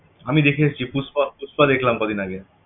আমি দেখে এসছি পুস্পা পুস্পা দেখলাম কদিন আগে